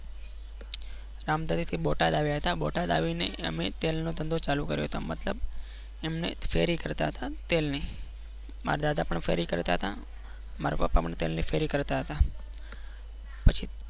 રામધરી થી બોટાદ આવ્યા હતા બોટાદ આવીને અમે તેલનો ધંધો ચાલુ કર્યો હતો મતલબ એમને ફેરી કરતા હતા તેલની મારા દાદા પણ ફેરી કરતા હતા. મારા પપ્પા પણ પહેલે શેરી કરતા હતા. પછી